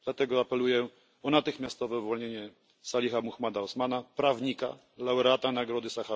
Dlatego apeluję o natychmiastowe uwolnienie Saliha Mahmouda Osmana, prawnika i laureata Nagrody im.